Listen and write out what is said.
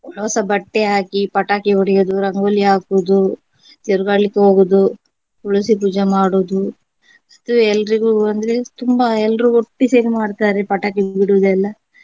ಹೊಸ ಬಟ್ಟೆ ಹಾಕಿ ಪಟಾಕಿ ಹೊಡೆಯುವುದು ರಂಗೋಲಿ ಹಾಕುವುದು ತಿರುಗಾಡ್ಲಿಕ್ಕೆ ಹೋಗುವುದು ತುಳುಸಿ ಪೂಜೆ ಮಾಡುವುದು ಅದುವೇ ಎಲ್ರಿಗೂ ಅಂದ್ರೆ ತುಂಬಾ ಎಲ್ರೂ ಒಟ್ಟಿ ಸೇರಿ ಮಾಡ್ತಾರೆ ಪಟಾಕಿ ಬಿಡುವುದೆಲ್ಲ.